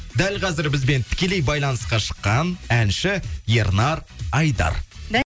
дәл қазір бізбен тікелей байланысқа шыққан әнші ернар айдар